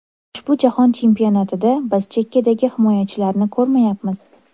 Ushbu Jahon Chempionatida biz chekkadagi himoyachilarni ko‘rmayapmiz.